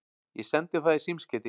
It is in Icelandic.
Ég sendi það í símskeyti.